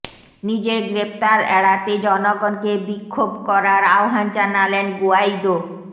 নিজের গ্রেফতার এড়াতে জনগণকে বিক্ষোভ করার আহ্বান জানালেন গুয়াইদো